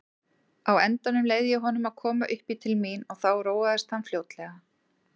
Á endanum leyfði ég honum að koma uppí til mín og þá róaðist hann fljótlega.